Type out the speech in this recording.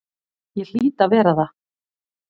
Ég hlýt að vera það.